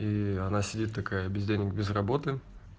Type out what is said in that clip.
ии она сидит такая без денег без работы